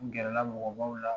N gɛrɛ la mɔgɔbaw la.